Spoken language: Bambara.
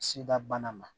Sida bana ma